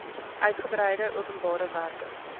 uitgebreide openbare werke